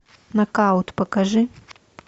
нокаут покажи